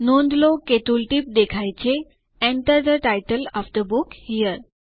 નોંધ લો કે જે ટુલટીપ દેખાય છે Enter the title of the book here